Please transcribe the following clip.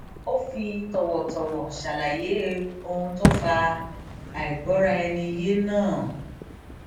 ó fi tòwòtòwò ṣàlàyé ohun tó fa àìgbọraẹniyé náà